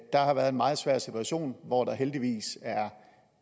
der har været en meget svær situation hvor der heldigvis er